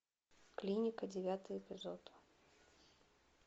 клиника девятый эпизод